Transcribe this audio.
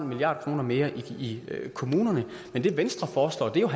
milliard kroner mere i kommunerne men det venstre foreslår er jo at